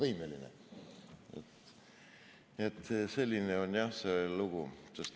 Nii et jah, selline on see lugu.